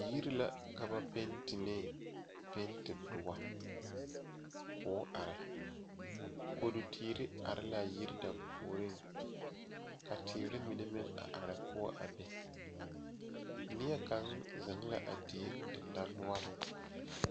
Yiri la ka ba penti ne penti doɔ koo are kodu teere are laa yiri dampuoriŋ ka teere mine meŋ a are poɔ a be neɛ kaŋ zeŋ la a die dendanoɔriŋ.